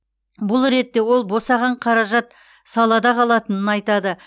бұл ретте ол босаған қаражат салада қалатынын айтады